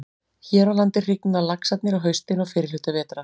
Hér á landi hrygna laxarnir á haustin og fyrri hluta vetrar.